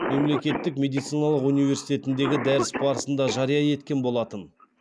мемлекеттік медициналық университетіндегі дәріс барысында жария еткен болатын